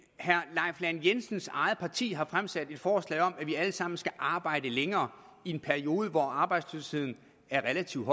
herre leif lahn jensens eget parti har fremsat et forslag om at vi alle sammen skal arbejde længere i en periode hvor arbejdsløsheden er relativt